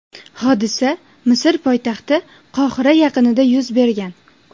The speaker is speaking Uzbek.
Hodisa Misr poytaxti Qohira yaqinida yuz bergan.